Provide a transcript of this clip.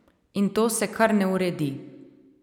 In to se kar ne uredi.